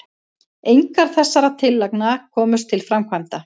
engar þessara tillagna komust til framkvæmda